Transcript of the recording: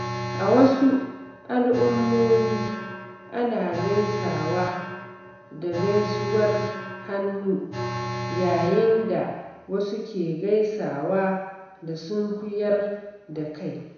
A wasu al’ummomi, ana gaisawa da gaisuwar hannu, yayin da wasu ke gaisawa da sunkuyar da kai.